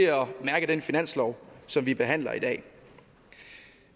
mærke den finanslov som vi behandler i dag